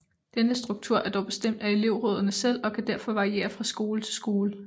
Denne struktur er dog bestemt af elevrådene selv og kan derfor variere fra skole til skole